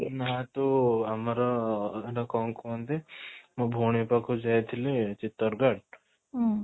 ନାଁ ତୁ ଆମର ଏଟା କ'ଣ କୁହନ୍ତି ମୋ ଭଉଣୀ ପାଖକୁ ଯାଇଥିଲି ଚିତ୍ତର ଗଡ଼